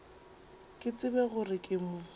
ke tsebe gore ke mo